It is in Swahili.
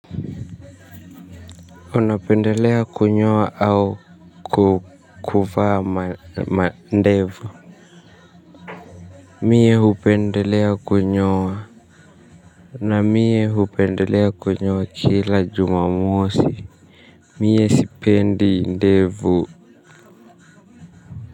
Unapendelea kunyoa au kuvaa mandevu mimi hupendelea kunyoa na mimi hupendelea kunyoa kila jumamosi mimi sipendi ndevu.